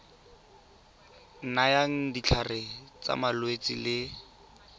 nayang ditlhare tsa malwetse le